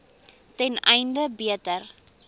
ten einde beter